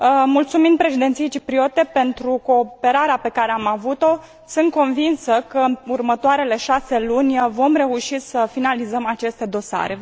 Mulțumind Președinției cipriote pentru cooperarea pe care am avut o, sunt convinsă că, în următoarele șase luni, vom reuși să finalizăm aceste dosare.